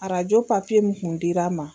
Ararajo pafiye mun kun dira n ma.